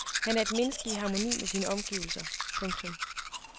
Han er et menneske i harmoni med sine omgivelser. punktum